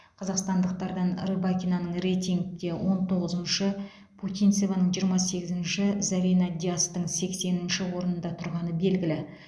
қазақстандықтардан рыбакинаның рейтингте он тоғызыншы путинцеваның жиырма сегізінші зарина диястың сексенінші орында тұрғаны белгілі